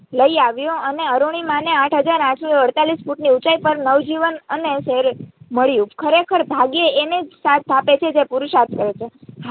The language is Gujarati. લઈ આવ્યો અને અરૂણિમાને આઠ હાજર આઠસો અડતાળીશ ફૂટ ની ઉંચાઈ પર નવજીવન મળ્યું ખરેખર ભાગ્ય એને જ સાથ આપે છે જે પુરુષાર્થ કરે છે.